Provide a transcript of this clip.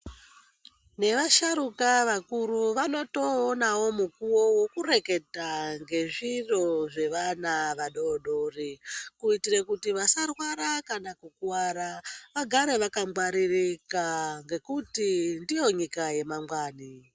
Nevasharuka vakuru vanotoonawo mukuwo wekureketa ngezviro zvevana vadoodori, kuitira kuti vasarwara kana kukuwara ,vagare vakangwaririka ngekuti ndiyo nyika yemangwani.